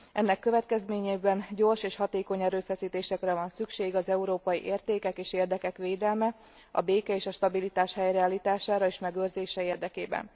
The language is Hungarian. Ennek következtében gyors és hatékony erőfeszítésekre van szükség az európai értékek és érdekek védelme, a béke és a stabilitás helyreállítása és megőrzése érdekében.